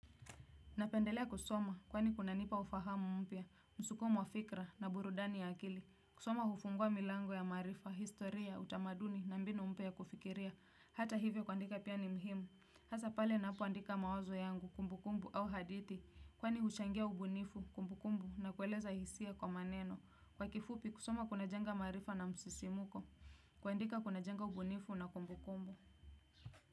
Napendelea kusoma kwani kunanipa ufahamu mpya, msuko mwa fikira na burudani ya akili, kusoma hufungua milango ya maarifa, historia, utamaduni na mbinu mpya ya kufikiria, hata hivyo kuandika pia ni muhimu, hasa pale ninapoandika mawazo yangu, kumbukumbu au hadithi, kwani huchangia ubunifu, kumbukumbu na kueleza hisia kwa maneno, kwa kifupi kusoma kunajenga maarifa na msisimko, kuandika kunajenga ubunifu na kumbukumbu.